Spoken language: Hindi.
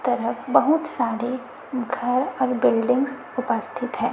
तरफ बहुत सारे घर और बिल्डिंग्स उपस्थित है।